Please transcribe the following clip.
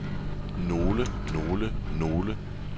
nogle nogle nogle